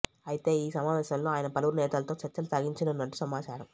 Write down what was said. అయితే ఈ సమావేశంలో ఆయన పలువురు నేతలతో చర్చలు సాగించనున్నట్టు సమాచారం